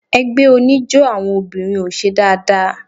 Ẹgbẹ́ oníjó àwọn obìnrin ò ṣe dáadáa.